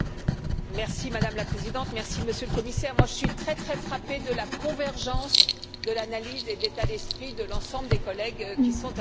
Madame la Présidente, Monsieur le Commissaire, je suis très, très frappée par la convergence de l'analyse et de l'état d'esprit de l'ensemble des collègues qui sont intervenus.